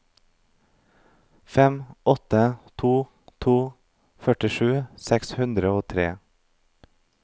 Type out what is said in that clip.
fem åtte to to førtisju seks hundre og tre